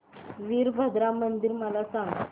वीरभद्रा मंदिर मला सांग